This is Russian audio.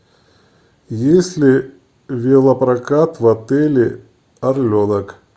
есть ли велопрокат в отеле орленок